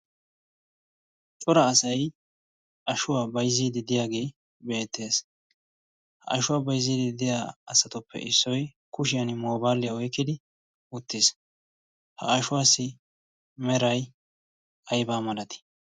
cora asay ashuwaa bayzziidi diyaagee beettees ha ashuwaa bayzziidi deya asatuppe issoy kushiyan moobaaliyaa oykkidi uttiis ha ashuwaassi meray aybaa malati